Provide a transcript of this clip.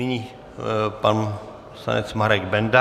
Nyní pan poslanec Marek Benda.